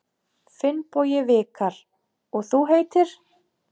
Finnbogi Vikar: Og þú heitir?